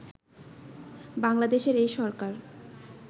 বাংলাদেশের এই সরকার